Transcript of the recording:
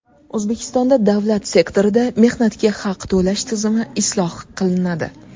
O‘zbekistonda davlat sektorida mehnatga haq to‘lash tizimi isloh qilinadi.